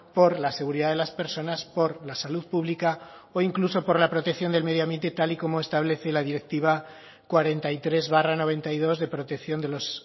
por la seguridad de las personas por la salud pública o incluso por la protección del medio ambiente tal y como establece la directiva cuarenta y tres barra noventa y dos de protección de los